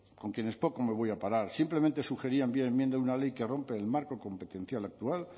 con quienes poco me voy a parar simplemente sugerían vía enmienda una ley que rompe el marco competencial actual